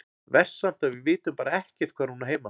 Verst samt að við vitum bara ekkert hvar hún á heima.